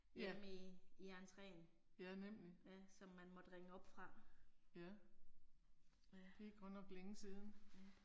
Ja. Ja nemlig. Ja. Det er godt nok længe siden